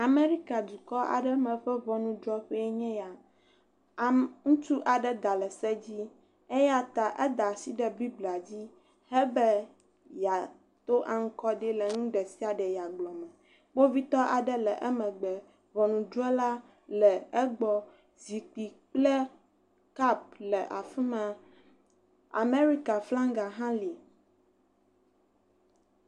Amerikadukɔ aɖe me ƒe ŋɔnudrɔƒe enye ya. Ame ŋutsu aɖe da le se dzi eya ta eda asi ɖe biblia dzi hebe yea to anukwaɖi le nu ɖe sia ɖe yea gblɔ me. Kpovitɔ aɖe le emegbe, ŋɔnudrɔla le egbɔ. Zikpui kple kɔpu le afi ma. Amerika flaga hã li.